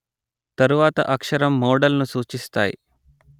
తరువాత అక్షరం మోడల్ ను సూచిస్తాయి